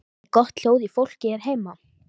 Er gott hljóð í fólki hér heima?